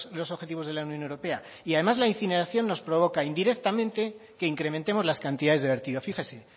los objetivos de la unión europea además la incineración nos provoca indirectamente que incrementemos las cantidades de vertido fíjese